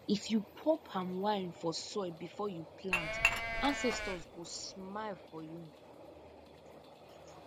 if you pour palm wine for soil before you plant ancestors go smile for you